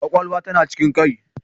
Kwakwalwa tana cikin kai